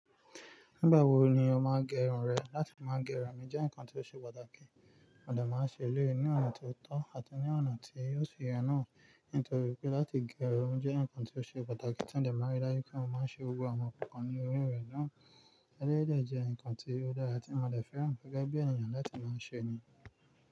Nígbà wo ni o máa n gé irun rẹ? Láti máa gé irun mí jẹ́ nǹkan tó ṣe pàtàkì. Mo de máa ń ṣe eleyii ní ọ̀nà tó tọ́ àti ní ọ̀nà tí o si ye náà, nítorí pé láti gé irun jẹ́ nǹkan tó ṣe pàtàkì. Tí n de máa ń rí daju pé mo máa ń ṣe gbogbo àwọn kankan ní orí rẹ̀ náà, ẹlẹ́yii de jẹ́ nǹkan tí ó dára tí mo de fẹ́ ran gẹ́gẹ́ bí ènìyàn láti máa ṣe ni.